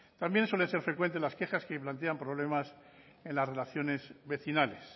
también suelen ser frecuentes las quejas que plantean problemas en las relaciones vecinales